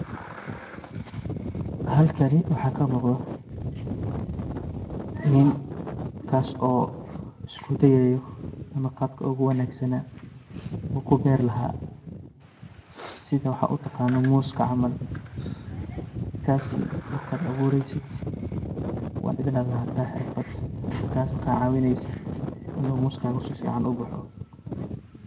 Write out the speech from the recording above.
Halkani waxa kamugdo, ni kas oo iskudayao ama qaabka o guwanagsana u kuber lahaa, sidha waxa utaganan mooska camal, kasi markad awureysid wa inad lahata hirfat hirfadas oo kacawineyso inu moskada si fican uboxo.